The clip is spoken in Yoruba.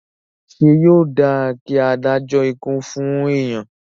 Ṣé yóò dáa kí a dájọ́ ikú fún èèyàn?